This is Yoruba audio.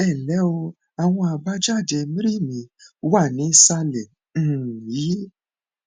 ẹ ǹlẹ o àwọn àbájáde mri mi wà nísàlẹ um yìí